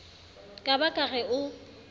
ka ba ke re o